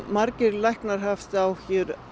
margir læknar hafa haft áhyggjur